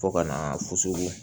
Fo ka na fosogo